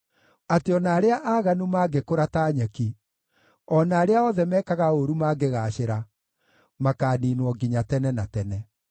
atĩ o na arĩa aaganu mangĩkũra ta nyeki, o na arĩa othe mekaga ũũru mangĩgaacĩra, makaaniinwo nginya tene na tene.